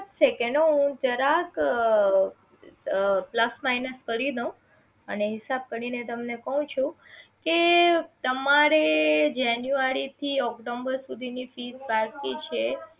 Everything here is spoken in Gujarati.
જ second હું જરાક અ plus minus કરી દઉં અને હિસાબ કરીને તમને કહું છું કે તમારે જાન્યુઆરી થી ઓક્ટોબર સુધી ની fess બાકી છે